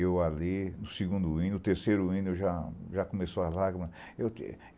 Eu ali, no segundo hino, no terceiro hino, já já começou a lágrima eu que